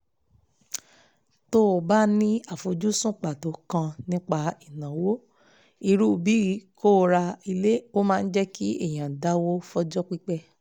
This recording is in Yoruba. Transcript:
tó o bá ní àfojúsùn pàtó kan nípa ìnáwó irú bíi kó o ra ilé ó máa jẹ́ kí èẹ̀yàn dáwó fọjọ́ pípẹ́